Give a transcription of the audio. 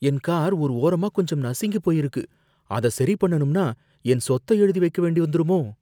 என் car ஒரு ஓரமா கொஞ்சம் நசுங்கி போயிருக்கு, அத சரி பண்ணனும்னா என் சொத்த எழுதி வைக்க வேண்டி வந்துருமோ!